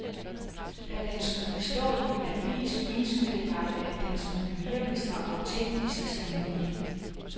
Da den skulle stå i en avis, ønskede jeg, at den skulle virke så autentisk som mulig.